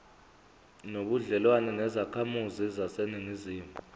nobudlelwane nezakhamizi zaseningizimu